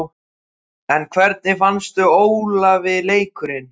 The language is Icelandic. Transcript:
En hvernig fannst Ólafi leikurinn?